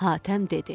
Hatəm dedi.